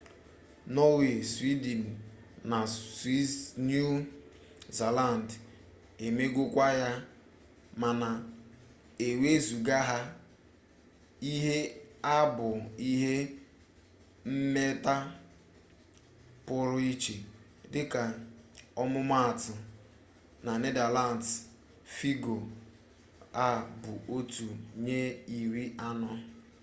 norway sweden na new zealand emegokwa ya mana ewezụga ha ihe a bụ ihe mmeta pụrụ iche dịka ọmụmaatụ na netherlands fịgọ a bụ otu nye iri anọ